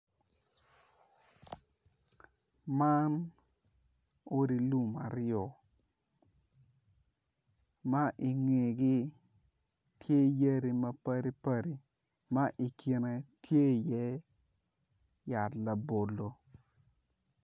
Man odi lum aryo ma ingegi tye yadi mapadi padi ma ikine tye i ye yat labolo.